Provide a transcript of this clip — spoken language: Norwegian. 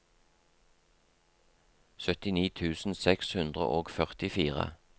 syttini tusen seks hundre og førtifire